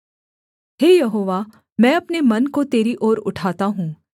हे यहोवा मैं अपने मन को तेरी ओर उठाता हूँ